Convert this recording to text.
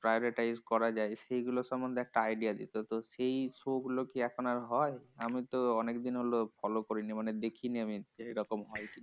Prioritize করা যায়? সেগুলো সন্বন্ধে idea দিতো। তো সেই show গুলো কি এখন আর হয়? আমিতো অনেকদিন হলো follow করিনি মানে দেখিনি আমি এরকম হয় কি?